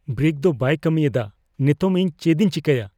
Brake ᱫᱚ ᱵᱟᱭ ᱠᱟᱹᱢᱤᱭᱮᱫᱼᱟ ᱾ ᱱᱮᱛᱚᱜ, ᱤᱧ ᱪᱮᱫ ᱤᱧ ᱪᱮᱠᱟᱭᱟ ?